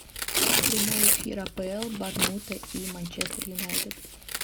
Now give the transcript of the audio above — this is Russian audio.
прямой эфир апл борнмута и манчестер юнайтед